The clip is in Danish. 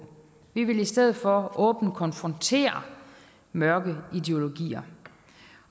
vi vil i stedet for åbent konfrontere mørke ideologier